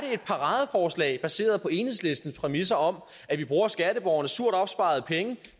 et paradeforslag baseret på enhedslistens præmisser om at vi bruger skatteborgernes surt opsparede penge